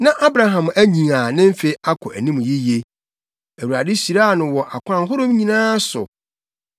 Na Abraham anyin a ne mfe akɔ anim yiye. Awurade hyiraa no wɔ akwan ahorow nyinaa so.